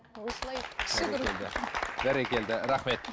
осылай бәрекелді рахмет